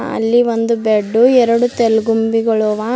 ಅಲ್ಲಿ ಒಂದು ಬೆಡ್ಡು ಎರಡು ತೆಲುಗುಂಬಿಗಳು ಅವಾ--